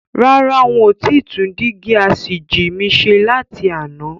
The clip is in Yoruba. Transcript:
Rárá, ń ó ti tún dígí asìjì mi ṣe láti àná.